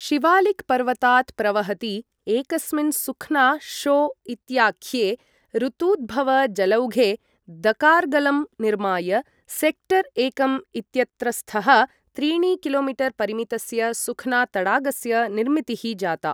शिवालिक् पर्वतात् प्रवहति एकस्मिन् सुख्ना शो इत्याख्ये ऋतूद्भवजलौघे दकार्गलं निर्माय सेक्टर् एकं इत्यत्रस्थः त्रीणि किलो मीटर् परिमितस्य सुख्ना तडागस्य निर्मितिः जाता।